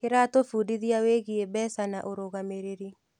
Kĩratũbundithia wĩgiĩ mbeca na ũrũgamĩrĩri.